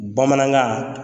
Bamanankan